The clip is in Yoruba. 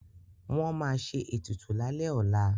Wọ́n ma ṣe ètùtù lálẹ́ ọlá